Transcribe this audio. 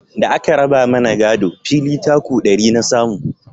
Da a ka raba mana gado, fili taku ɗari na samu